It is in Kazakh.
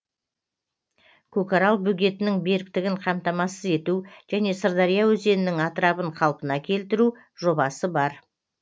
көкарал бөгетінің беріктігін қамтамасыз ету және сырдария өзенінің атырабын қалпына келтіру жобасы бар